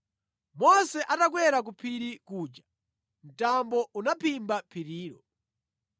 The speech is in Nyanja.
Mose atakwera ku phiri kuja mtambo unaphimba phirilo.